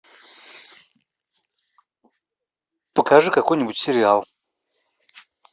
покажи какой нибудь сериал